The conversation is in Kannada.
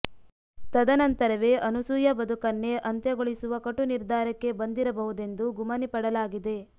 ತದ ನಂತರವೇ ಅನಸೂಯಾ ಬದುಕನ್ನೇ ಅಂತ್ಯಗೊಳಿಸುವ ಕಟು ನಿರ್ದಾರಕ್ಕೆ ಬಂದಿರ ಬಹುದೆಂದು ಗುಮನಿ ಪಡಲಾಗಿದೆ